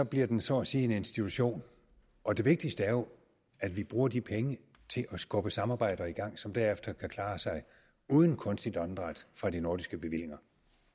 bliver den så at sige en institution og det vigtigste er jo at vi bruger de penge til at skubbe samarbejder i gang som derefter kan klare sig uden kunstigt åndedræt fra de nordiske bevillinger